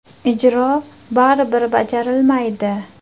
Ijro baribir bajarilmaydi.